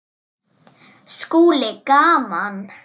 SKÚLI: Gaman!